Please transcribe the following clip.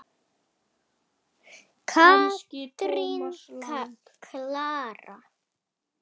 Katrín Klara.